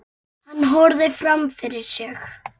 Hann horfir fram fyrir sig.